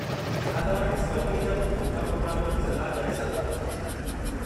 छा तव्हां डिस्कवरीअ जा कुझु सुठा प्रोग्रामनि जी सलाह करे सघो था?